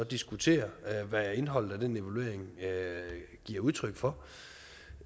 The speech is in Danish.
diskutere hvad indholdet af den evaluering giver udtryk for